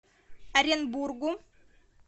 оренбургу